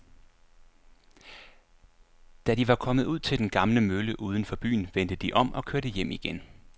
Da de var kommet ud til den gamle mølle uden for byen, vendte de om og kørte hjem igen.